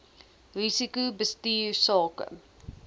risiko bestuur sake